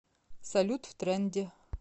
салют в тренде